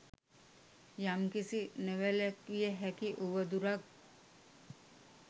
යම්කිසි නොවැළැක්විය හැකි උවදුරක්